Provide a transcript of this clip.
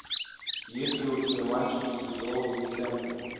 есть ли у тебя мальчики святого винсента